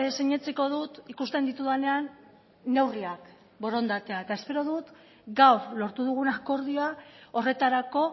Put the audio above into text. sinetsiko dut ikusten ditudanean neurriak borondatea eta espero dut gaur lortu dugun akordioa horretarako